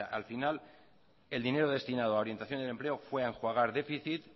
al final el dinero destinado a orientación al empleo fue a enjuagar déficit